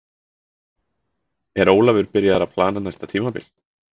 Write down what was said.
Er Ólafur byrjaður að plana næsta tímabil?